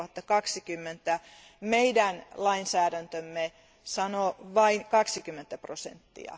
2020. Meidän lainsäädäntömme sanoo vain 20 prosenttia.